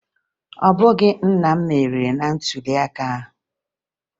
Ọ bụghị nna m meriri na ntụliaka ahụ